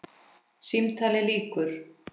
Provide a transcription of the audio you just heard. Símtali lýkur.